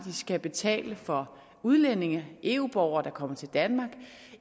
skal betale for udlændinge eu borgere der kommer til danmark